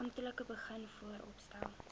amptelik begin vooropstel